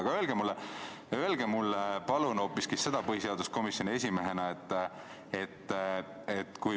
Aga palun öelge põhiseaduskomisjoni esimehena mulle hoopis seda.